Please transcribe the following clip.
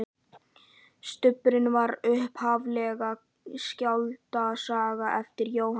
Stubburinn var upphaflega skáldsaga eftir Jóhann